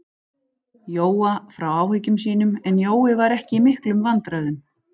Jóa frá áhyggjum sínum, en Jói var ekki í miklum vandræðum.